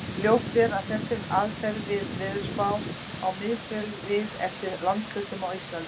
Ljóst er að þessi aðferð við veðurspár á misvel við eftir landshlutum á Íslandi.